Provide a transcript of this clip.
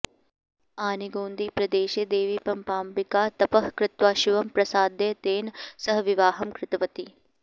आनेगोन्दीप्रदेशे देवीपम्पाम्बिका तपः कृत्वा शिवं प्रसाद्य तेन सह विवाहं कृतवती